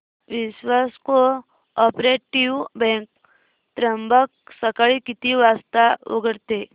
विश्वास cooperative bank Trimbak सकाळी किती वाजता उघडते